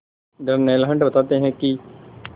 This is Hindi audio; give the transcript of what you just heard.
डर्नेल हंट बताते हैं कि